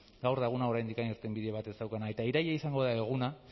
gaur da eguna oraindik irtenbide bat ez daukana eta iraila izango da eguna